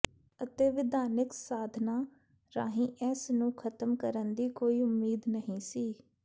ਅਤੇ ਵਿਧਾਨਿਕ ਸਾਧਨਾਂ ਰਾਹੀਂ ਇਸ ਨੂੰ ਖ਼ਤਮ ਕਰਨ ਦੀ ਕੋਈ ਉਮੀਦ ਨਹੀਂ ਸੀ